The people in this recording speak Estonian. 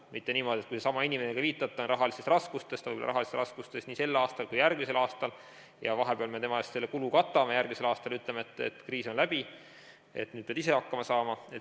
Mitte niimoodi, et kui seesama inimene, kellele te viitate, on rahalistes raskustes ja ta on võib-olla rahalistes raskustes nii sel aastal kui ka järgmisel aastal ning vahepeal me tema eest selle kulu katame, aga järgmisel aastal ütleme, et kriis on läbi, nüüd pead ise hakkama saama.